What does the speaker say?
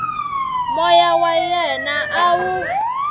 moya wa yena a wu